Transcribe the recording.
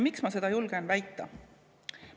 Miks ma seda julgen väita?